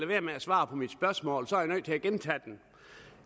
være med at svare på mit spørgsmål så jeg er nødt til at gentage det